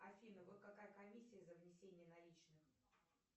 афина вот какая комиссия за внесение наличных